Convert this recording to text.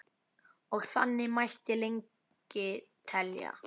Og þannig mætti lengi telja.